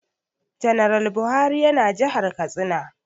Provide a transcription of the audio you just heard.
Janar Buhari ya na jihar Katsina